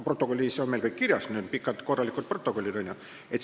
Protokollis on meil kõik kirjas, meil on pikad korralikud protokollid.